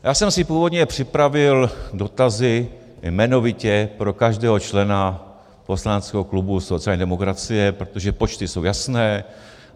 Já jsem si původně připravil dotazy, jmenovitě pro každého člena poslaneckého klubu sociální demokracie, protože počty jsou jasné.